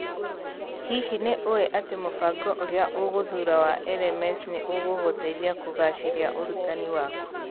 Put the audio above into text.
Hihi nĩ ũĩ atĩ mũbango ũrĩa ũgũthuura wa LMS nĩ ũgũgũteithia kũgaacĩria ũrutani-inĩ waku?